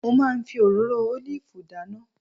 Mo máa ń fi òróró ólìfù dáná